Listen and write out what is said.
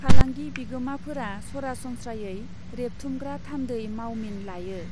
फालांगि बिगोमाफोरा सरासनस्रायै रेबथुमग्रा थान्दै मावमिन लायो।